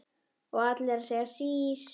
Og allir að segja sís!